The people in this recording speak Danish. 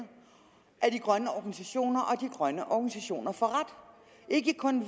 af de grønne organisationer og de grønne organisationer får ret ikke kun